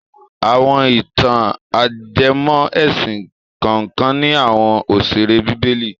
Àwọn ìtàn- ajẹmọ́ ẹ̀sìn kànkan ní àwọn òṣèré bíbélì.